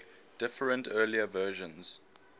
different early versions